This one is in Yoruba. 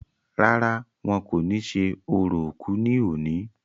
rárá, wọn kò ní ṣe orò òkú ní òní